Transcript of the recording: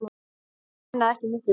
Það munaði ekki miklu.